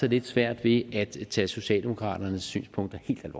lidt svært ved at tage socialdemokraternes synspunkter helt